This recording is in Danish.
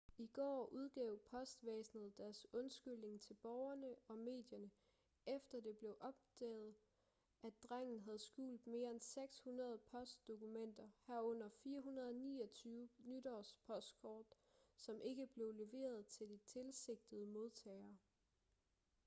i går udgav postvæsenet deres undskyldning til borgerne og medierne efter det blev opdaget at drengen havde skjult mere end 600 postdokumenter herunder 429 nytårspostkort som ikke blev leveret til de tilsigtede modtagere